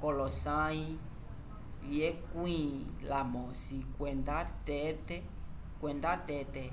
k'olosãyi vyekwĩ lamosi kwenda tete